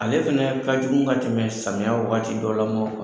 Ale fɛnɛ ka jugun ka tɛmɛ samiya wagati dɔ la maw kan.